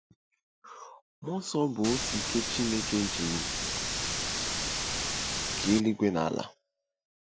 Mmụọ nsọ bụ otu ike Chineke ji kee eluigwe na ala.